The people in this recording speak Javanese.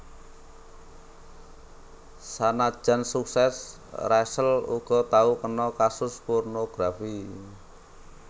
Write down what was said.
Sanajan suksès Rachel uga tau kena kasus pornografi